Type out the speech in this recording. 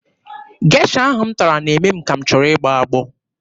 Gesha ahụ m tara na-eme m ka m chọrọ ịgbọ agbọ.